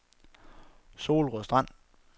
Solrød Strand